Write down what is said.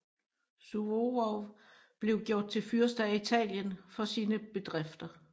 Suvorov blev gjort til fyrste af Italien for sine bedrifter